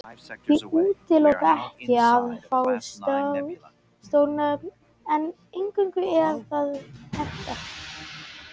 Ég útiloka ekki að fá stór nöfn en einungis ef það hentar.